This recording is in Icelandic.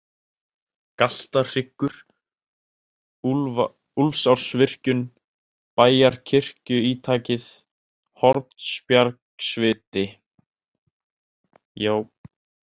Galtahryggur, Úlfsársvirkjun, Bæjarkirkjuítakið, Hornbjargsviti